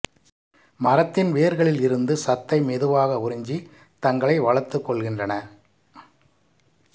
மரத்தின் வேர்களில் இருந்து சத்தை மெதுவாக உறிஞ்சி தங்களை வளர்த்துக்கொள்கின்றன